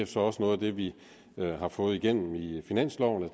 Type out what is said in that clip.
så også noget af det vi har fået igennem i finansloven